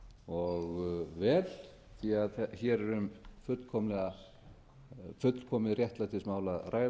og vel því hér er um fullkomið réttlætismál að ræða